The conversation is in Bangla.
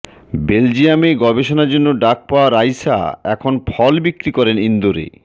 বেলজিয়ামে গবেষণার জন্য ডাক পাওয়া রাইসা এখন ফল বিক্রি করেন ইন্দোরে